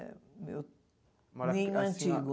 É eu. Nem o antigo.